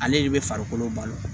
Ale de bɛ farikolo balo